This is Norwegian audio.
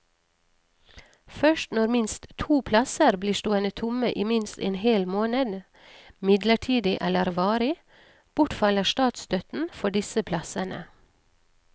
Først når minst to plasser blir stående tomme i minst en hel måned, midlertidig eller varig, bortfaller statsstøtten for disse plassene.